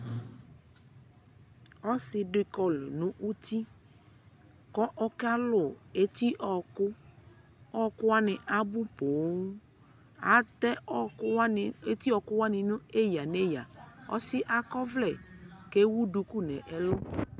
Ɔsi di kɔlu nu uti ku ɔka lu eti ɔwɔkuƆwɔku wani abu pooAtɛ eti ɔwɔku wani neyaneyaƆsi yɛ akɔ vlɛ kɛ wu duku nɛ lu